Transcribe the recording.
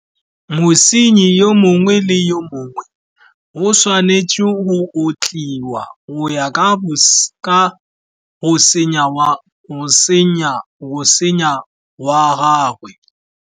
Mosenyi yo mongwe le yo mongwe, o tshwanetse go otliwa go ya ka go senya wa gagwe.